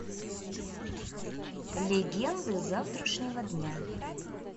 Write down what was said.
легенды завтрашнего дня